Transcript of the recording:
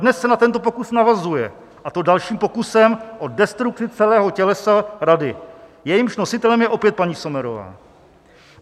Dnes se na tento pokus navazuje, a to dalším pokusem o destrukci celého tělesa Rady, jejímž nositelem je opět paní Sommerová.